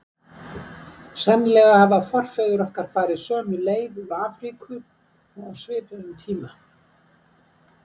Sennilega hafa forfeður okkar farið sömu leið úr Afríku og á svipuðum tíma.